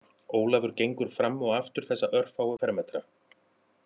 Ólafur gengur fram og aftur þessa örfáu fermetra